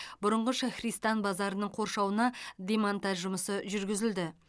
бұрынғы шахристан базарының қоршауына демонтаж жұмысы жүргізілді